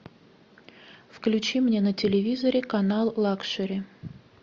включи мне на телевизоре канал лакшери